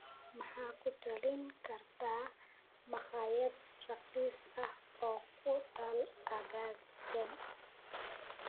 ma ku talin kartaa makhaayad raqiis ah oo ku taal aaggan